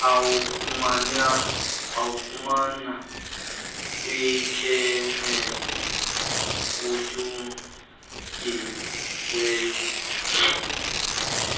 uwafumana kwikhemesti etyunjiweyo